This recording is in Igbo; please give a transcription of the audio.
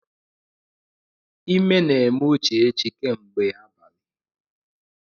Ime na-eme Uchechi kemgbe abalị.